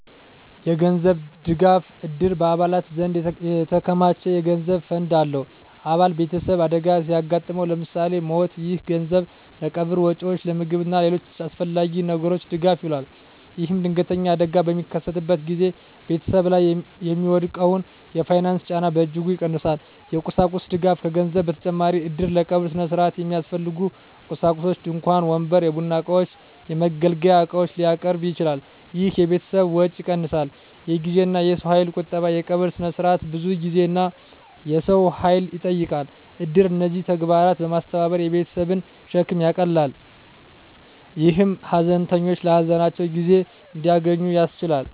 የገንዘብ ድጋፍ: እድር በአባላት ዘንድ የተከማቸ የገንዘብ ፈንድ አለው። አባል ቤተሰብ አደጋ ሲያጋጥመው (ለምሳሌ ሞት)፣ ይህ ገንዘብ ለቀብር ወጪዎች፣ ለምግብ እና ለሌሎች አስፈላጊ ነገሮች ድጋፍ ይውላል። ይህም ድንገተኛ አደጋ በሚከሰትበት ጊዜ ቤተሰብ ላይ የሚወድቀውን የፋይናንስ ጫና በእጅጉ ይቀንሳል። የቁሳቁስ ድጋፍ: ከገንዘብ በተጨማሪ እድር ለቀብር ሥነ ሥርዓት የሚያስፈልጉ ቁሳቁሶችን (ድንኳን፣ ወንበር፣ የቡና እቃዎች፣ የመገልገያ ዕቃዎች) ሊያቀርብ ይችላል። ይህ የቤተሰብን ወጪ ይቀንሳል። የጊዜና የሰው ኃይል ቁጠባ: የቀብር ሥነ ሥርዓት ብዙ ጊዜና የሰው ኃይል ይጠይቃል። እድር እነዚህን ተግባራት በማስተባበር የቤተሰብን ሸክም ይቀንሳል፣ ይህም ሀዘንተኞች ለሀዘናቸው ጊዜ እንዲያገኙ ያስችላል።